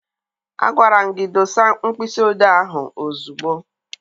Agwara m gị dosa mkpịsị odee ahụ ozugbo!